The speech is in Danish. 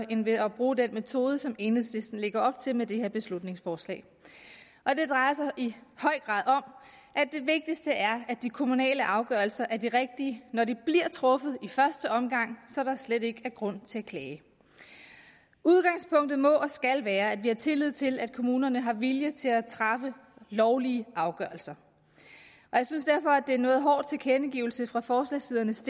end ved at bruge den metode som enhedslisten lægger op til med det her beslutningsforslag det drejer sig i høj grad om at det vigtigste er at de kommunale afgørelser er de rigtige når de bliver truffet i første omgang så der slet ikke er grund til at klage udgangspunktet må og skal være at vi har tillid til at kommunerne har vilje til at træffe lovlige afgørelser jeg synes derfor at er en noget hård tilkendegivelse fra forslagsstillernes